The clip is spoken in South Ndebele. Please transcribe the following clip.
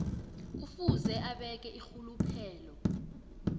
kufuze abeke irhuluphelo